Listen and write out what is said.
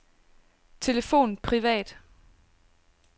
telefon privat